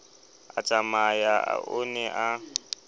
a tsamaya o ne a